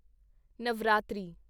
Navratri